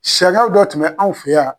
Sariya dɔw tun bɛ an fɛ yan.